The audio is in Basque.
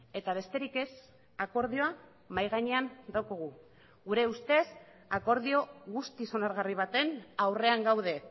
eta besterik ez akordioa mahai gainean daukagu gure ustez akordio guztiz onargarri baten aurrean gaude